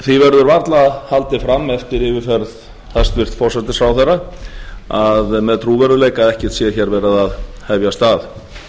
verður varla haldið fram eftir yfirferð hæstvirtur forsætisráðherra með trúverðugleika að ekkert sé verið hér að aðhfast